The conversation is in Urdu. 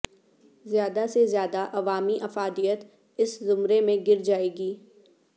زیادہ سے زیادہ عوامی افادیت اس زمرے میں گر جائے گی